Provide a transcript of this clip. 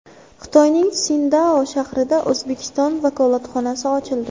Xitoyning Sindao shahrida O‘zbekiston vakolatxonasi ochildi.